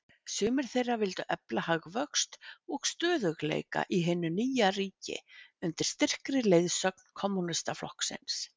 Sumir þeirra vildu efla hagvöxt og stöðugleika í hinu nýja ríki, undir styrkri leiðsögn Kommúnistaflokksins.